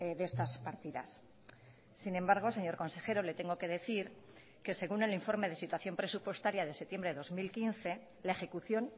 de estas partidas sin embargo señor consejero le tengo que decir que según el informe de situación presupuestaria de septiembre de dos mil quince la ejecución